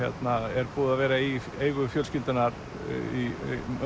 er búið að vera í eigu fjölskyldunnar í